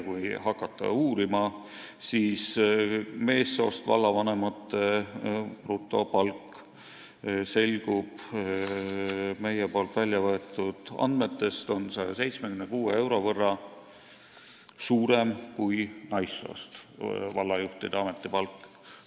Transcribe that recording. Kui hakata uurima, siis meie väljavõetud andmetest selgub, et meessoost vallavanemate brutopalk on 176 euro võrra suurem kui naissoost vallajuhtide ametipalk.